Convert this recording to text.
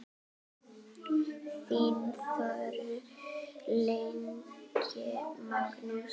Þinn sonur, Ingi Magnús.